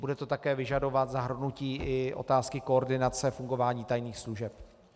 Bude to také vyžadovat i zahrnutí otázky koordinace fungování tajných služeb.